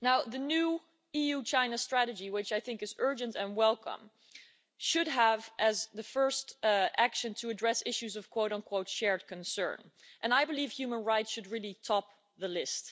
The new EU China strategy, which I think is urgent and welcome, should have as its first action to address issues of shared concern' and I believe human rights should really top the list.